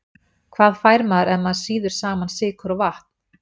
Hvað fær maður ef maður sýður saman sykur og vatn?